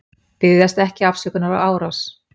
Biðjast ekki afsökunar á árás